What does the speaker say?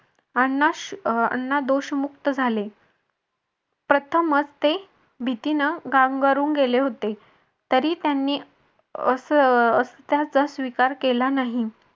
अण्णा दोषमुक्त झाले प्रथमच ते भीतीनं गांगरून गेले होते तरी त्यानी असं त्याचा स्वीकार केला नाही.